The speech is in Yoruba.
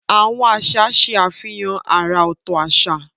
Àwọn àṣà ṣe àfihàn àrà ọ̀tọ̀ àṣà.